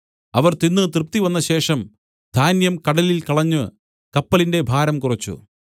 അവർ തിന്ന് തൃപ്തിവന്നശേഷം ധാന്യം കടലിൽ കളഞ്ഞ് കപ്പലിന്റെ ഭാരം കുറച്ച്